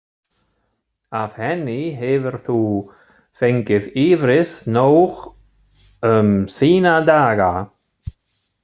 Af henni hefur þú fengið yfrið nóg um þína daga.